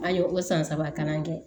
An ye o san saba kalan kɛ